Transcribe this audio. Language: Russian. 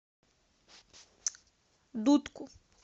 дудку